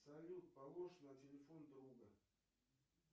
салют полож на телефон друга